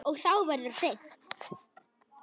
Og þá verður hreint.